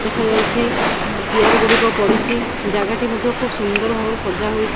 ଦେଖାଯାଉଚି ଏ ଚିଆର ଗୁଡ଼ିକ ପଡ଼ିଛି ଜାଗା ଟି ମଧ୍ୟ ଖୁବ୍ ସୁନ୍ଦର ଭାବରେ ସଜା ହୋଇ--